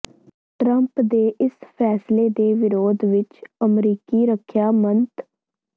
Trump ਦੇ ਇਸ ਫ਼ੈਸਲੇ ਦੇ ਵਿਰੋਧ ਵਿਚ ਅਮਰੀਕੀ ਰੱਖਿਆ ਮੰਤ